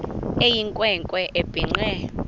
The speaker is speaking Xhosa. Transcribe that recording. eyinkwe nkwe ebhinqe